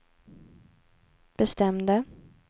bestämde